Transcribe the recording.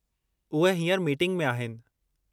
उहे हींअर मीटिंग में आहिनि।